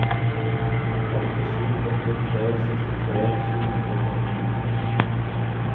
åtte sju åtte tre sekstitre sju hundre og førtini